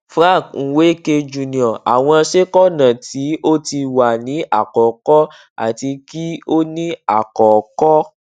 frank nweke jr àwọn ṣẹ́kọ̀nà tí ó ti wà ní àkọ́kọ́ àti kí ó ní àkọ́kọ́